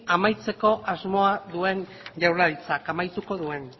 amaitzeko asmoa duen jaurlaritzak amaituko duen